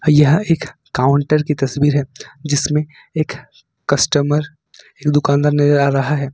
यह एक काउंटर की तस्वीर है जिसमें एक कस्टमर दुकानदार नजर आ रहा है।